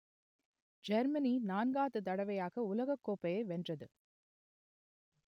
Germany நான்காவது தடவையாக உலகக்கோப்பையை வென்றது